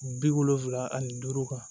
Bi wolonfila ani duuru kan